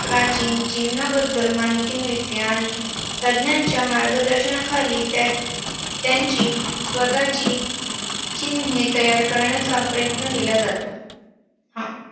प्राचीन चिन्हाबद्दल माहिती मिळते. आणि तज्ञांच्या मार्गदर्शनाखाली त्यांचे~ त्यांची स्वतःची चिन्ह तयार करण्याचा प्रयत्न केला जातो. हा.